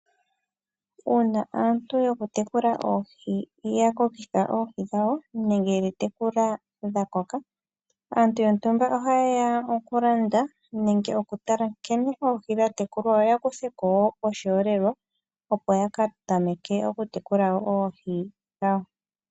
Uuna aantu yokutekula oohi ya kokitha oohi dhawo nenge yedhi tekula dha koka, aantu yontumba ohaye ya okulanda nenge okutala nkene oohi dha tekulwa yo ya kuthe ko oshiholelwa, opo ya ka tameke okutekula wo oohi dhawo.